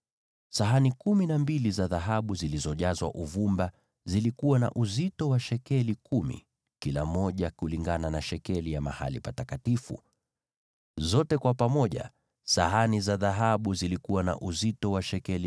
Sahani kumi na mbili za dhahabu zilizojazwa uvumba zilikuwa na uzito wa shekeli kumi kila moja, kulingana na shekeli ya mahali patakatifu. Kwa jumla, sahani za dhahabu zilikuwa na uzito wa shekeli 120.